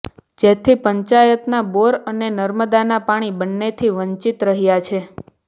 જેથી પંચાયતના બોર અને નર્મદાના પાણી બંનેથી વંચિત રહ્યાં છે